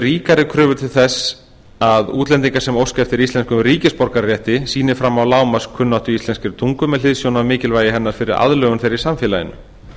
ríkari kröfur til þess að útlendingar sem óska eftir íslenskum ríkisborgararétti sýni fram á lágmarkskunnáttu í íslenskri tungu með hliðsjón af mikilvægi hennar fyrir aðlögun þeirra í samfélaginu